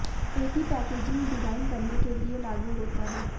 एक ही packaging design करने के लिए लागू होता है